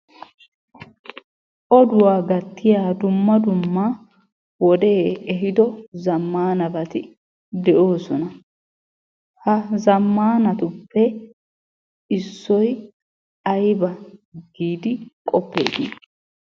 Oduwa gattiya dumma dumma wodee ehiiddo zammanabati de'oosona. Ha zammanatuppe issoy ayba giidi qoppeeti?